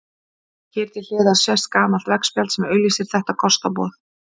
Hér til hliðar sést gamalt veggspjald sem auglýsir þetta kostaboð.